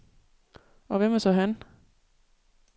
Og hvem er så han?